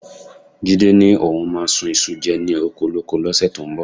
Jídé ni òun máa sun iṣu jẹ ni okolóko lọ́sẹ̀ tó ń bọ̀